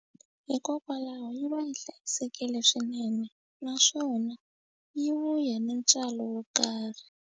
Hikokwalaho yi va yi hlayisekile swinene naswona yi vuya ni ntswalo wo karhi.